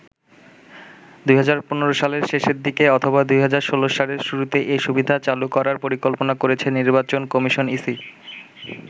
২০১৫ সালের শেষের দিকে অথবা ২০১৬ সালের শুরুতে এ সুবিধা চালু করার পরিকল্পনা করেছে নির্বাচন কমিশন ইসি ।